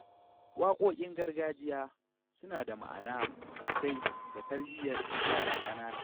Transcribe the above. Waƙoƙin gargajiya suna da ma’ana sosai ga tarbiyyar yara ƙanana.